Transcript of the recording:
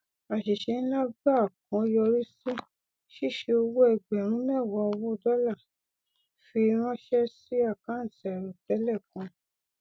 àṣìṣe nlá gbáà kan yọrí sí ṣíṣi owó ẹgbẹrún mẹwàá owó dọlà fi ránṣẹ sí àkántì àìròtẹlẹ kan